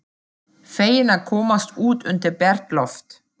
Feginn að komast út undir bert loft.